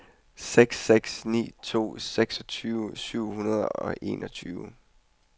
seks seks ni to seksogtyve syv hundrede og enogtyve